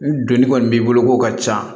Ni donni kɔni b'i bolo k'o ka ca